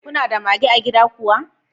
Kuna da mage a gida kuwa?